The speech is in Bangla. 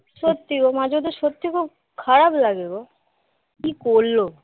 সত্যি গো মার জন্যে খুব খারাপ লাগে গো কি করলো